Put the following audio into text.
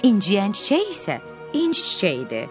İnciyən çiçək isə inci çiçəyidir.